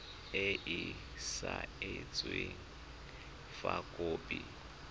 e e saenweng fa khopi